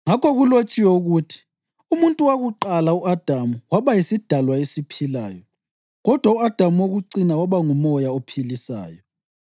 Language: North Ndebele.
Ngakho kulotshiwe ukuthi: “Umuntu wakuqala u-Adamu waba yisidalwa esiphilayo” + 15.45 UGenesisi 2.7; kodwa u-Adamu wokucina waba ngumoya ophilisayo.